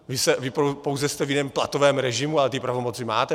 Vy pouze jste v jiném platovém režimu, ale ty pravomoci máte.